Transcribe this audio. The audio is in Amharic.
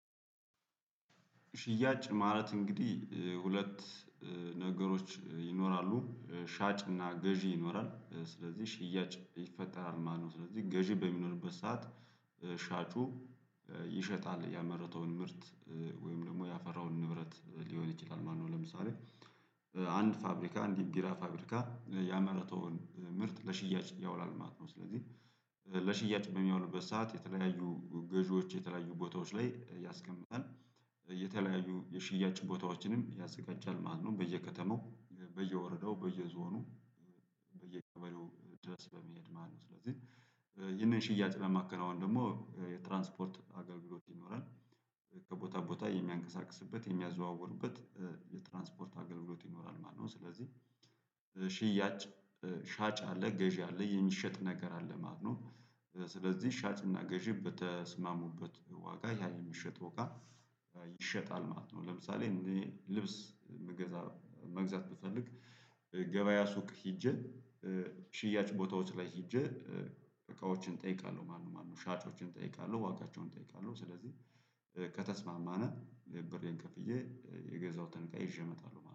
ሽያጭ ማለት እንግዲህ ሁለት ነገሮች ይኖራሉ ሻጭና ገዢ ይኖራል ስለዚህ ሽያጭ ይፈጠራል ማለት ነው። ስለዚህ ገዢ በሚኖርበት ሰዓት ሻጩ ይሸጣል ያመረተውን ምርት ወይም ደግሞ ያፈራውን ንብረት ሊሆን ይችላል ማለት ነው። ለምሳሌ አንድ ፋብሪካ አንድ ቢራ ፋብሪካ ያመረተውን ምርት ለሽያጭ ያውላል ማለት ነው። ስለዚህ ለሽያጭ በሚሆንበት ሰዓት የተለያዩ ገዢዎች የተለያዩ ቦታዎች ላይ ያስቀምጣል የተለያዩ የሽያጭ ቦታዎችንም ያዘጋጃል ማለት ነው። በየከተማው በየወረዳው በየዞኑ በየቀበሌው ድረስ በመሄድ ማነው? ስለዚህ ይህንን ሽያጭ ለማከናወን ደግሞ የትራንስፖርት አገልግሎት ይኖራል ከቦታ ቦታ የሚያንቀሳቅስበት የሚያዘዋውርበት የትራንስፖርት አገልግሎት ይኖራል ማለት ነው። ስለዚህ ሽያጭ ሻጭ አለ ገዢ አለ የሚሸጥ ነገር አለ ማለት ነው። ስለዚህ ሻጭና ገዢ በተስማሙበት ዋጋ ያ የሚሸጠው እቃ ይሸጣል ማለት ነው። ለምሳሌ እኔ ልብስ መግዛት ብፈልግ ገበያ ሱቅ ሄጄ ሽያጭ ቦታዎች ላይ ሄጄ እቃዎችን እጠይቃለሁ ማነው ማነው ሻጮችን እጠይቃለሁ ዋጋቸውን እጠይቃለሁ። ስለዚህ ከተስማማን ብሬን ከፍዬ የገዛውትን እቃ ይዤ እመጣለሁ